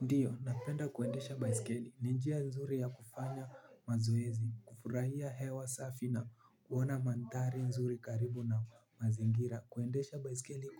Ndio napenda kuendesha baisikeli ni njia nzuri ya kufanya mazoezi kufurahia hewa safi na kuona mandhari nzuri karibu na mazingira kuendesha baisikeli